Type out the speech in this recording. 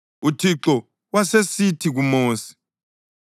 UThixo wasesithi kuMosi,